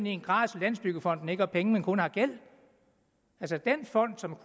i en grad så landsbyggefonden ikke har penge men kun har gæld den fond som